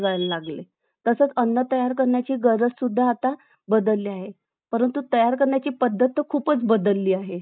तोटे बघितले तर अं बालक ते त्यांच्या शिक्षणापासून वंचित राहून घरात उत्त्पन्न यावं म्हणून अं अं म्हणजे एखाद्या कारखान्यामध्ये म्हणा किंवा एखाद्या दुकानांमध्ये म्हणा किंवा